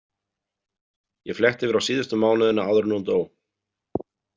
Ég fletti yfir á síðustu mánuðina áður en hún dó.